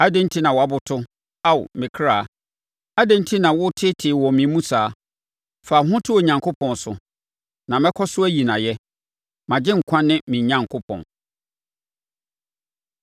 Adɛn enti na woaboto, Ao me kra? Adɛn enti na woteetee wɔ me mu saa? Fa wo ho to Onyankopɔn so, na mɛkɔ so ayi no ayɛ, mʼAgyenkwa ne me Onyankopɔn.